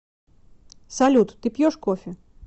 салют ты пьешь кофе